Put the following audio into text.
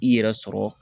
I yɛrɛ sɔrɔ